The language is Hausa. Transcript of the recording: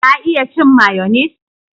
Ka iya cin mayonis?